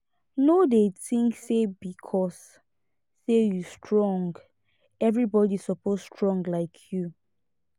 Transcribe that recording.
no dey think say because sey you strong everybody suppose strong like you